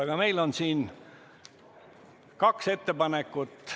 Aga meil on siin kaks ettepanekut.